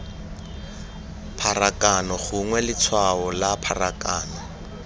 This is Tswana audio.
pharakano gongwe letshwao la pharakano